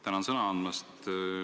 Tänan sõna andmast!